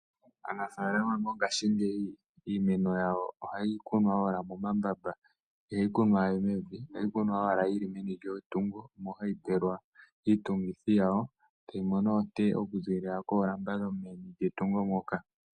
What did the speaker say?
Aanafalama yongashingeyi iimeno yawo ohayi kunwa owala momambamba ihayi kunwa mevi. Omo hayi pelwa iitungithi yawo nokumona oonte okuza koolamba dhawo.